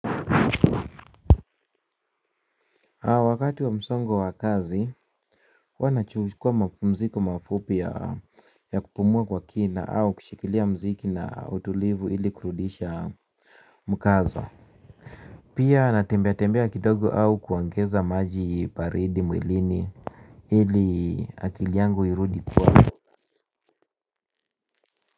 Wakati wa msongo wa kazi huwa nachukua mapumziko mafupi ya kupumua kwa kina au kushikilia mziki na utulivu ili kurudisha mkazo pia natembea tembea kidogo au kuongeza maji baridi mwilini ili akili yangu irudi kuwa.